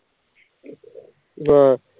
ਹਾਂ